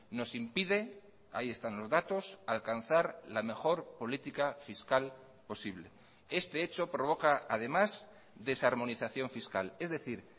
nos impide ahí están los datos alcanzar la mejor política fiscal posible este hecho provoca además desarmonización fiscal es decir